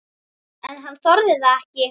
En hann þorði það ekki.